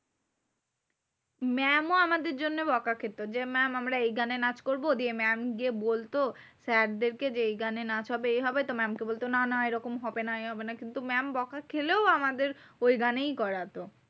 Mam ও আমাদের জন্য বকা খেত। যে mam আমরা এই গানে নাচ করবো। দিয়ে mam গিয়ে বলতো sir দেরকে যে এই গানে নাচ হবে এই হবে। তো mam কে বলতো না না এইরকম হবে না এই হবে না। কিন্তু mam বকা খেলেও আমাদের ওই গানেই করাতো।